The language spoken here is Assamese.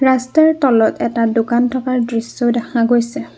ৰাস্তাৰ তলত এটা দোকান থকাৰ দৃশ্যও দেখা গৈছে।